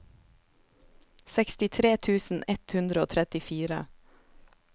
sekstitre tusen ett hundre og trettifire